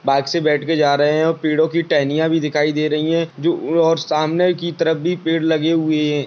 Bike से बैठ कर जा रहे हैं और पेड़ो की टहनियाँ भी दिखाई दे रही हैं जो उ और सामने की तरफ भी पेड़ लगे हुए हैं।